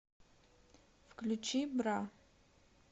включи бра